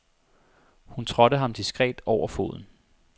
Hun trådte ham diskret over foden.